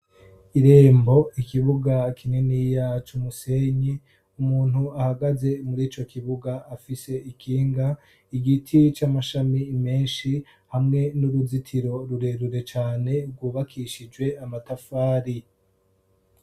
Irembo ; ikibuga kininiya c’umusenyi ;umuntu ahagaze murico kibuga afise ikinga ; igiti c'amashami menshi hamwe n'uruzitiro rurerure cane rwubakishijwe amatafari.